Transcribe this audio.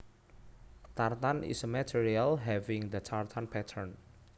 Tartan is a material having the tartan pattern